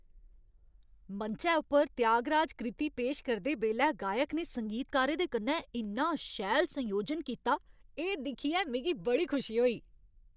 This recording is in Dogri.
मंचै उप्पर त्यागराज कृति पेश करदे बेल्लै गायक ने संगीतकारें दे कन्नै इन्ना शैल संयोजन कीता, एह् दिक्खियै मिगी बड़ी खुशी होई।